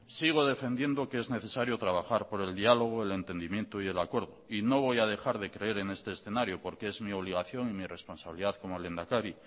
sigo defendiendo que es necesario trabajar por el diálogo el entendimiento y el acuerdo y no voy a dejar de creer en este escenario porque es mi obligación y mi responsabilidad como lehendakari